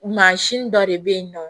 Mansin dɔ de bɛ yen nɔ